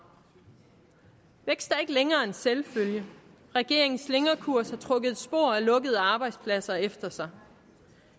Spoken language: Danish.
vækst er ikke længere en selvfølge regeringens slingrekurs har trukket et spor af lukkede arbejdspladser efter sig